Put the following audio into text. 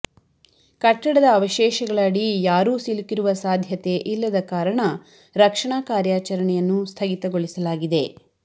ಕಟ್ಟಡದ ಅವಶೇಷಗಳ ಅಡಿ ಯಾರೂ ಸಿಲುಕಿರುವ ಸಾಧ್ಯತೆ ಇಲ್ಲದ ಕಾರಣ ರಕ್ಷಣಾ ಕಾರ್ಯಾಚರಣೆಯನ್ನು ಸ್ಥಗಿತಗೊಳಿಸಲಾಗಿದೆ